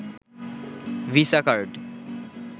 visa card